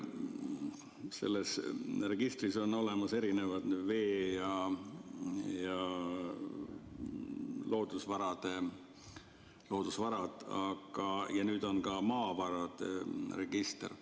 Selles registris on olemas erinevad vee- ja loodusvarad ja nüüd on ka maavarade register.